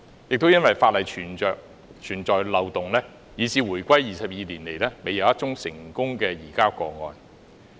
由於法例存在漏洞，以致回歸22年來，未有一宗成功移交個案。